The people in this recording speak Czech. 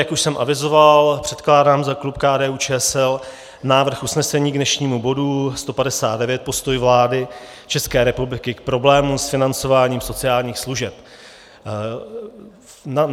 Jak už jsem avizoval, předkládám za klub KDU-ČSL návrh usnesení k dnešnímu bodu 159 Postoj vlády České republiky k problémům s financováním sociálních služeb.